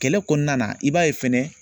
Kɛlɛ kɔnɔna na i b'a ye fɛnɛ